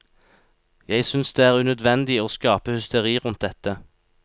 Jeg synes det er unødvendig å skape hysteri rundt dette.